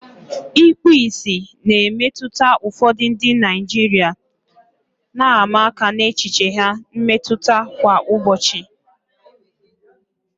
Ikpu ìsì na-emetụta ụfọdụ ndị Naijiria, na-ama aka n'echiche ha mmetụta kwa ụbọchị.